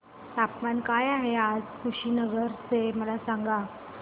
तापमान काय आहे आज कुशीनगर चे मला सांगा